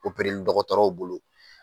li dɔgɔtɔrɔw bolo